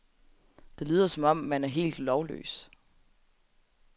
Det lyder som om, man er helt lovløs.